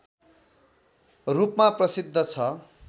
रूपमा प्रसिद्ध छ